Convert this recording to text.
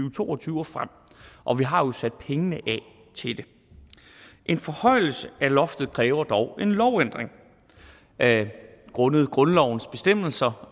og to og tyve og frem og vi har jo sat pengene af til det en forhøjelse af loftet kræver dog en lovændring grundet grundlovens bestemmelser